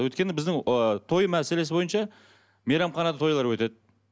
өйткені біздің ы той мәселесі бойынша мейрамханада тойлар өтеді